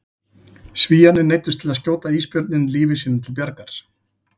Svíarnir neyddust til að skjóta ísbjörninn lífi sínu til bjargar.